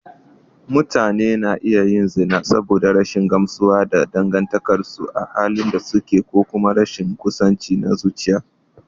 Mutane na iya yin zina saboda rashin gamsuwa da dangantakarsu a halin da suke ko kuma rashin kusanci na zuciya.